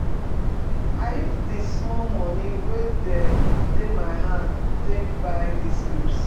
I use di small moni we dey my hand take buy dis goods.